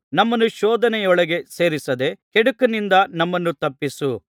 ನಮ್ಮನ್ನು ಶೋಧನೆಯೊಳಗೆ ಸೇರಿಸದೆ ಕೆಡುಕನಿಂದ ನಮ್ಮನ್ನು ತಪ್ಪಿಸು